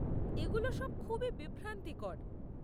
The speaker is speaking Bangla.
এগুলো সব খুবই বিভ্রান্তিকর।